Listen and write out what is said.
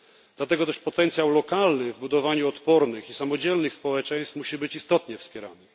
Dlatego też potencjał lokalny w budowaniu odpornych i samodzielnych społeczeństw musi być istotnie wspierany.